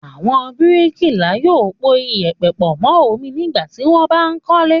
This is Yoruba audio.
Àwọn bíríkìlà yóò po ìyẹ̀pẹ̀ pọ̀ mọ́ omi nígbà tí wọ́n bá ń kọ́lé.